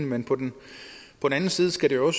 men på den anden side skal det jo